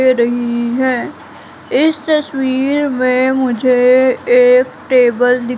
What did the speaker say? दे रही हैं इस तस्वीर में मुझे एक टेबल दी--